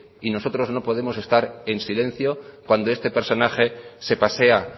y nosotros no podemos estar en silencio cuando este personaje se pasea